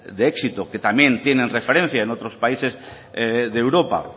de éxito que también tienen referencia en otros países de europa